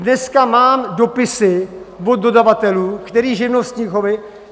Dneska mám dopisy od dodavatelů, kteří živnostníkovi...